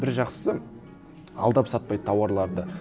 бір жақсысы алдап сатпайды тауарларды